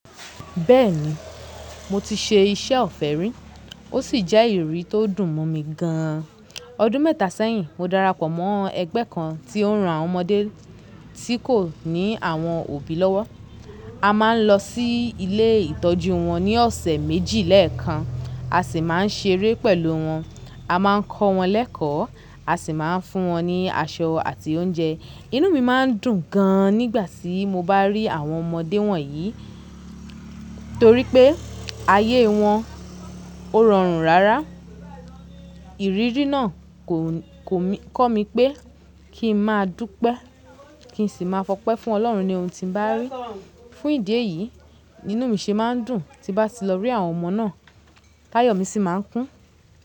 Bẹ́ẹ̀ni, mo ti ṣe iṣẹ́ ọ̀fẹ́ rí ó sì jẹ́ ìrírí tó dùn mọ́ mi gan an. Ọdún mẹ́ta sẹ́yìn, mo darapọ̀ mọ́ ẹgbẹ́ kan tí ó ń ran àwọn ọmọdé tí kò ní àwọn òbí lọ́wọ́. A máa ń lọ sí ilé ìtọ́jú wọn ní ọ̀sẹ̀ méjì lẹ́ẹ̀kan, a sì máa ń ṣeré pẹ̀lú wọn. A máa ń kọ́ wọn lẹ́kọ̀ọ́, a sì máa ń fún wọn ní aṣọ àti oúnjẹ. Inú mi máa ń dùn gan an nígbà tí mo bá rí àwọn ọmọdé wọ̀nyí torí pé ayé wọn ó rọrùn rárá. Ìrírí náà kò, kò kọ́ mi pé kí n máa dúpẹ́, kí n sì máa fọpẹ́ fún ọlọ́run ní ohun tí n bá rí. Fún ìdí èyí, inú mi ṣe máa ń dùn tí bá ti lọ rí àwọn ọmọ náà. Táyọ̀ mi sì máa ń kún.